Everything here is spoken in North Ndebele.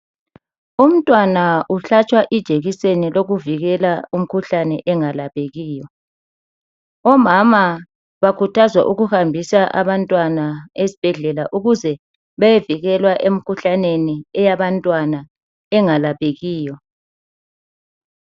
Umntwana uhlatshwa ijekiseni lokuvikela umkhuhlane engelaphekiyo . Omama bakhuthazwa ukuhambisa abantwana esibhedlela ukuze bayevikelwa emkhuhlaneni eyabantwana engalaphekiyo.